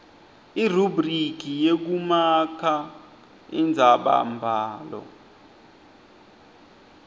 irubhriki yekumaka indzabambhalo